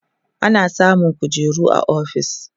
ana samun kujeru a ofis